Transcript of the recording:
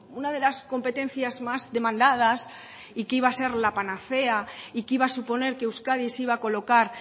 una de las competencias más demandadas y que iba a ser la panacea y que iba a suponer que euskadi se iba a colocar